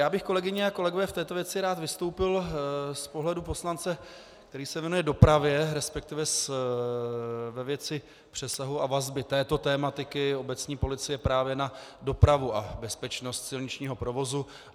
Já bych, kolegyně a kolegové, v této věci rád vystoupil z pohledu poslance, který se věnuje dopravě, respektive ve věci přesahu a vazby této tematiky obecní policie právě na dopravu a bezpečnost silničního provozu.